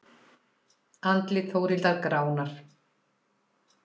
Andlit Þórhildar gránar.